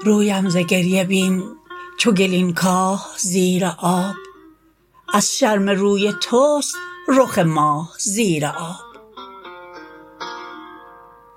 رویم ز گریه بین چو گلین کاه زیر آب از شرم روی توست رخ ماه زیر آب